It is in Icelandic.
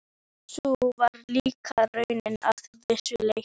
Og sú var líka raunin að vissu leyti.